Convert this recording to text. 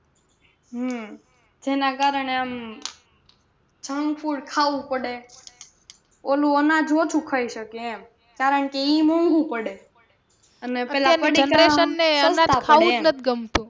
હમ જેના કારણે આમ junk food ખાવું પડે ઓલું અનાજ ઓછું ખાઈ શકીએ એમ કારણકે ઈ મોંઘુ પડે